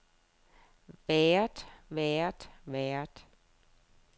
været været været